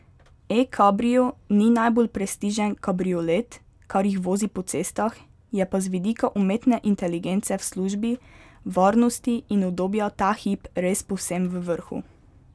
E kabrio ni najbolj prestižen kabriolet, kar jih vozi po cestah, je pa z vidika umetne inteligence v službi varnosti in udobja ta hip res povsem v vrhu.